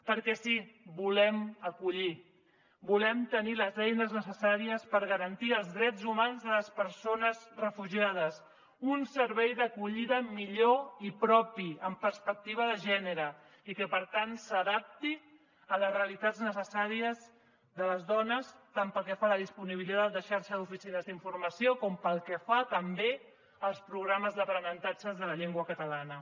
perquè sí volem acollir volem tenir les eines necessàries per garantir els drets humans de les persones refugiades un servei d’acollida millor i propi amb perspectiva de gènere i que per tant s’adapti a les realitats necessàries de les dones tant pel que fa a la disponibilitat de xarxa d’oficines d’informació com pel que fa també als programes d’aprenentatge de la llengua catalana